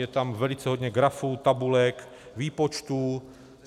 Je tam velice hodně grafů, tabulek, výpočtů.